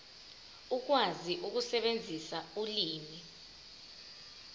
ukwazi ukusebenzisa ulimi